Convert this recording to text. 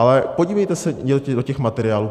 Ale podívejte se do těch materiálů.